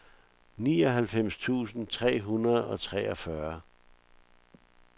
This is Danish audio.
nioghalvfems tusind tre hundrede og treogfyrre